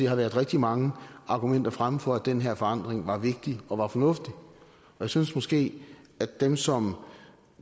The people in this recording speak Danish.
har været rigtig mange argumenter fremme for at den her forandring var vigtig og var fornuftig jeg synes måske at dem som